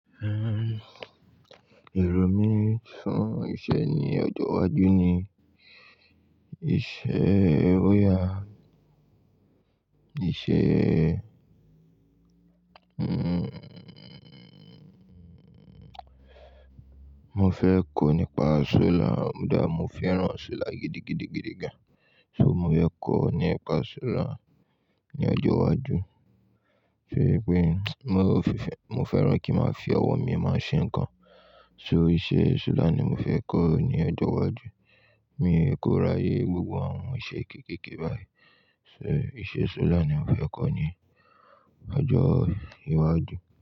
Èrò mí fún iṣẹ́ ní ọjọ́ iwájú ni iṣẹ́ lóyà, iṣẹ́, mo fẹ́ kọ́ nípa solar, kodá mo fẹ́ràn solar gidigidigidi gan. So mo fẹ́ kọ́ nípa solar ní ọjọ́ iwájú. Fe pé mo fẹ́, mo fẹ́ràn kí ma fi ọwọ́ mi máa ṣe nǹkan. So iṣẹ́ solar ni mo fẹ́ kọ́ ní ọjọ́ iwájú. Mi kóràyè gbogbo àwọn iṣẹ́ kéékèèké báyìí. So iṣẹ́ solar ni mo fẹ́ kọ́ ní ọjọ́ iwájú.